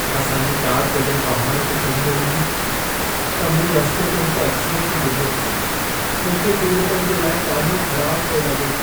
असां जी कार जॾहिं पहाड़ ते चढ़ी रही हुई, त मूं रस्ते ते हिक ऐक्सीडेंटु ॾिठो। मूंखे पीड़ितनि जे लाइ ॾाढो ख़राब पिए लॻो।